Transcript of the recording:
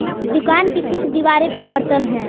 दुकान की कुछ दीवारे पे बर्तन हैं।